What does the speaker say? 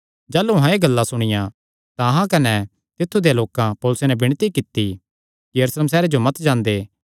जाह़लू अहां एह़ गल्लां सुणियां तां अहां कने तित्थु देयां लोकां पौलुसे नैं विणती कित्ती कि यरूशलेम सैहरे जो मत जांदे